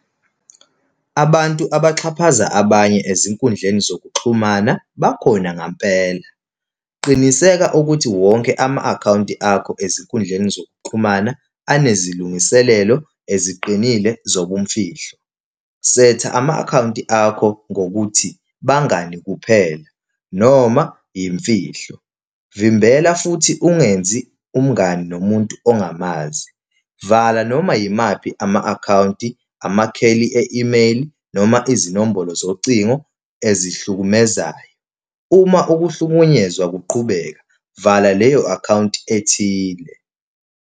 Abantu abaxhaphaza abanye ezinkundleni zokuxhumana bakhona ngampela. Qiniseka ukuthi wonke ama-akhawunti akho ezinkundleni zokuxhumana anezilungiselelo eziqinile zobumfihlo. Setha ama-akhawunti akho ngokuthi abangani kuphela, noma yimfihlo. Vimbela futhi ungenzi umngani nomuntu ongamazi vala, noma yimali, ama-akhawunti, amakheli e-email, noma izinombolo zocingo ezihlukumemezayo. Uma ukuhlukunyezwa kuqhubeka, vala leyo akhawunti ethile.